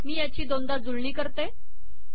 मी याची दोनदा जुळणी करते